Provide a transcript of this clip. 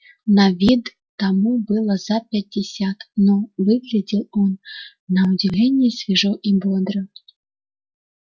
на вид тому было за пятьдесят но выглядел он на удивление свежо и бодро